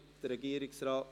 Der Regierungsrat?